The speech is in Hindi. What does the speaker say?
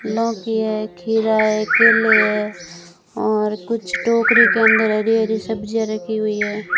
लौकी है खीरा है केले हैं और कुछ टोकरी के अंदर हरी हरी सब्जियां रखी हुई है।